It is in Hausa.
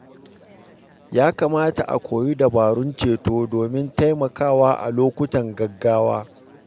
Ya kamata a koyi dabarun ceto domin taimakawa a lokutan gaggawa.